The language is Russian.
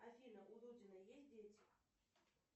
афина у дудина есть дети